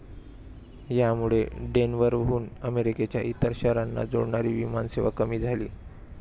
यामुळे डेनवरहून अमेरिकेच्या इतर शहरांना जोडणारी विमानसेवा कमी झाली.